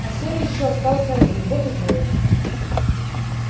а серый ещё остался один вот и воет